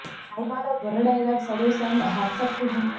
Sai Madhav Burra dialogues అదుర్స్ and hats off to him